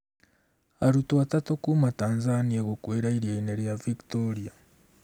Arutwo atatũ Kuma Tanzania gũkuĩra iria-inĩ rĩa Victoria